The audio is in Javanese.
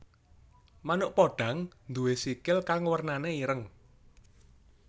Manuk podhang nduwé sikil kang wernané ireng